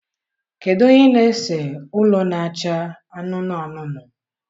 Kedu onye na-ese ụlọ na-acha anụnụ anụnụ?